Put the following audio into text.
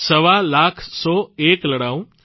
સવા લાખ સે એક લડાઉં